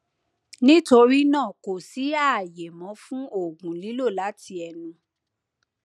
nítorí náà kò sí ààyè mọ fun òògùn lílò láti ẹnu